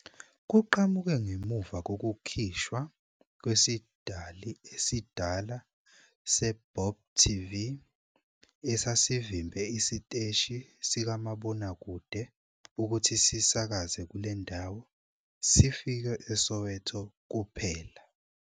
Kuqhamuke ngemuva kokukhishwa kwesidali esidala seBop TV, esasivimbe isiteshi sikamabonakude ukuthi sisakaze kule ndawo, sifike eSoweto kuphela.